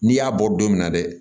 N'i y'a bɔ don min na dɛ